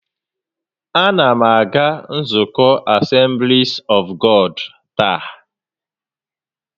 A na m aga nzukọ Asemblis ọf Gọd taa